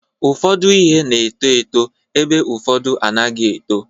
Ụfọdụ ihe na-eto eto ebe ụfọdụ anaghị eto.